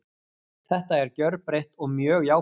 Þetta er gjörbreytt og mjög jákvætt.